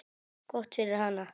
Gott fyrir hana.